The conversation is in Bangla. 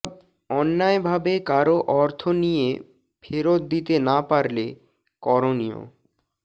অন্যায়ভাবে কারো অর্থ নিয়ে ফেরত দিতে না পারলে করণীয়